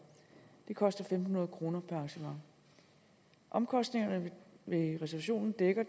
det koster fem hundrede kroner per arrangement omkostningerne ved reservationen dækker